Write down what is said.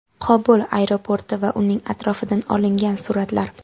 Qobul aeroporti va uning atrofidan olingan suratlar.